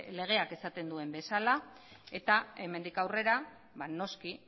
legeak esaten duen bezala eta hemendik aurrera noski